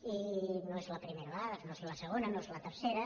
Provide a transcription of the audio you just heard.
i no és la primera vegada no és la segona no és la tercera